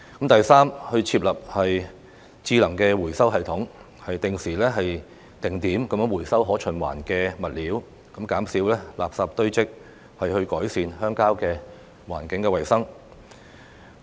第三，設立智能回收系統，定時定點回收可循環的物料，減少垃圾堆積，改善鄉郊的環境衞生。